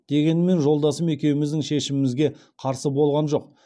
дегенмен жолдасым екеуміздің шешімімізге қарсы болған жоқ